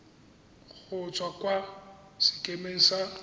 go tswa kwa sekemeng sa